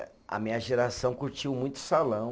A minha geração curtiu muito salão.